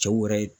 Cɛw yɛrɛ